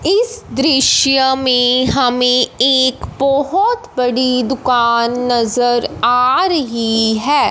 इस दृश्य में हमें एक बहोत बड़ी दुकान नजर आ रही है।